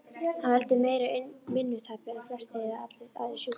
Það veldur meira vinnutapi en flestir eða allir aðrir sjúkdómar.